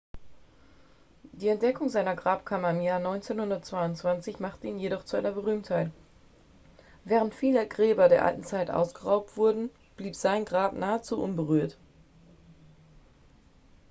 die entdeckung seiner grabkammer im jahr 1922 machte ihn jedoch zu einer berühmtheit während viele gräber der alten zeit ausgeraubt wurden blieb sein grab nahezu unberührt